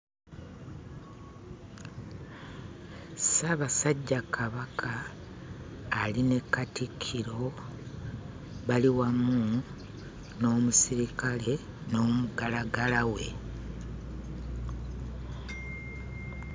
Ssaabasajja Kabaka ali ne Katikkiro, bali wamu n'omusirikale n'omuggalaggala we.